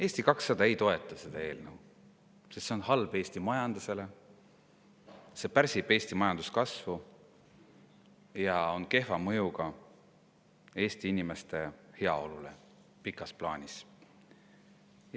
Eesti 200 ei toeta seda eelnõu, sest see on halb Eesti majandusele, see pärsib Eesti majanduskasvu ja on kehva mõjuga Eesti inimeste heaolule pikas plaanis.